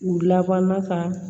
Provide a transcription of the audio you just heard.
U laban ka